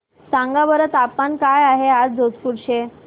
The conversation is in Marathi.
सांगा बरं तापमान काय आहे आज जोधपुर चे